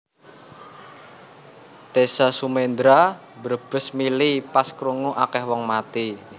Teza Sumendra mbrebes mili pas krungu akeh wong mati